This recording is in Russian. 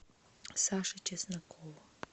саше чеснокову